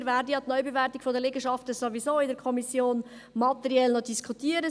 Wir werden ja die Neubewertung der Liegenschaften in der Kommission materiell noch diskutieren.